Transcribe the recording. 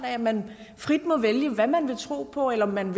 at man frit må vælge hvad man vil tro på eller om man